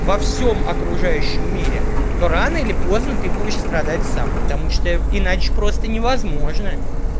во всём окружающем мире то рано или поздно ты будешь страдать сам потому что иначе просто невозможно